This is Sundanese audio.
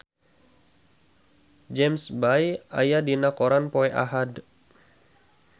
James Bay aya dina koran poe Ahad